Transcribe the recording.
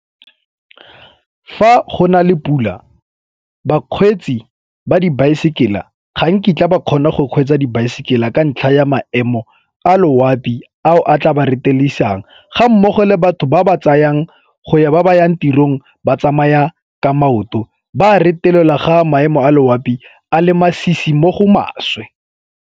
Fa go na le pula bakgweetsi ba dibaesekela ba ga nkitla ba kgona go kgweetsa dibaesekela ka ntlha ya maemo a loapi ao a tla ba retelelisang ga mmogo le batho ba ba tsayang go ya ba ba yang tirong ba tsamaya ka maoto ba a retelelwa ga maemo a loapi a le masisi mo go maswe.